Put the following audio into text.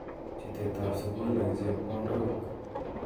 Chutet ab sukul eng chepkondok.